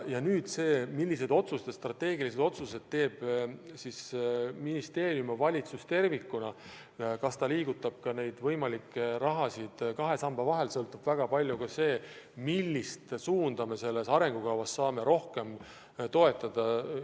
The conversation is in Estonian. Sellest, milliseid strateegilisi otsuseid teevad ministeerium ja valitsus tervikuna – kas liigutatakse neid võimalikke summasid kahe samba vahel –, sõltub väga palju ka see, millist suunda arengukavas saab rohkem toetada.